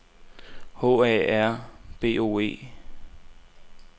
H A R B O E